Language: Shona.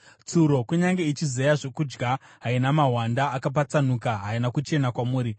Tsuro kunyange ichizeya zvokudya, haina mahwanda akapatsanuka, haina kuchena kwamuri.